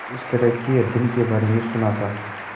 इस तरह के अध्ययन के बारे में सुना था